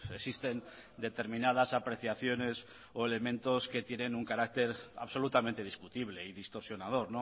existen determinadas apreciaciones o elementos que tienen un carácter absolutamente discutible y distorsionador